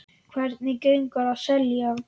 Hvernig gengur að selja?